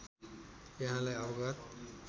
यहाँलाई अवगत